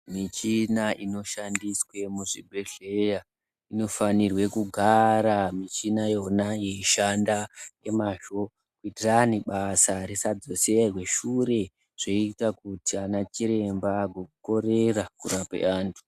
Michina inoshandiswe muzvibhedhleya inofanirwe kugara michinayona yeishanda ngemazvo kuitirani basa risadzoserwa shure zvoita kuti ana chiremba agokorera kurapa vanthu.